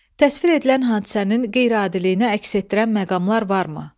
Təsvir edilən hadisənin qeyri-adiliyini əks etdirən məqamlar varmı?